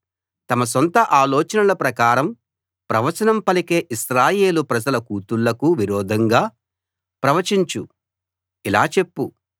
నరపుత్రుడా తమ సొంత ఆలోచనల ప్రకారం ప్రవచనం పలికే ఇశ్రాయేలు ప్రజల కూతుళ్ళకు విరోధంగా ప్రవచించు